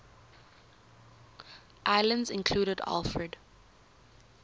islands included alfred